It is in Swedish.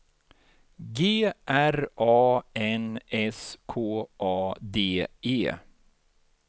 G R A N S K A D E